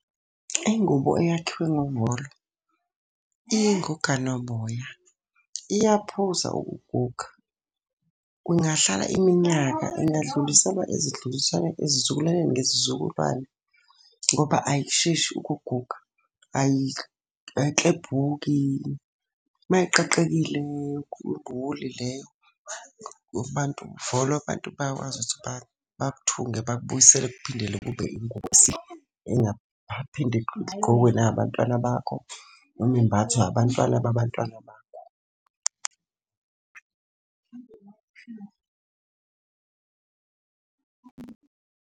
Ingubo eyakhiwe ngovolo, iyinguganaboya, iyaphuza ukuguga. Kungahlala iminyaka ingadluliselwa ezizukulwaneni ngezizukulwane, ngoba ayisheshi ukuguga. Ayiklebhuki, uma iqaqekile leyo, abantu uvolo abantu bayakwazi ukuthi bakuthunge bakubuyisele kuphindele kube ingubo esile. Engaphinde igqokwe na abantwana bakho, noma imbathwe abantwana babantwana bakho.